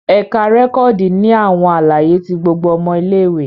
Ẹka rẹkọdi ni awọn alaye ti gbogbo ọmọ ìlé-ìwé